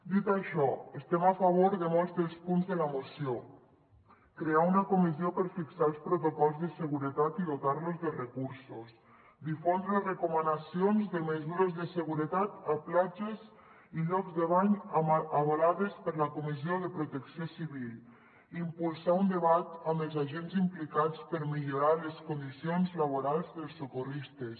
dit això estem a favor de molts dels punts de la moció crear una comissió per fixar els protocols de seguretat i dotar los de recursos difondre recomanacions de mesures de seguretat a platges i llocs de bany avalades per la comissió de protecció civil impulsar un debat amb els agents implicats per millorar les condicions laborals dels socorristes